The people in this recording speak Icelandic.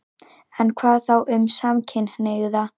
En hvað þá um samkynhneigða?